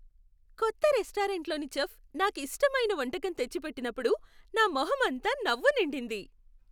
కొత్త రెస్టారెంట్లోని చెఫ్ నాకు ఇష్టమైన వంటకం తెచ్చిపెట్టినప్పుడు నా మొహంమంతా నవ్వు నిండింది.